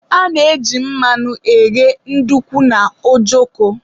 a na-eji mmanụ eghe ndukwu na ojoko